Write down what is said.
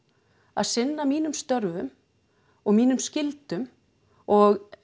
að sinna mínum störfum og mínum skyldum og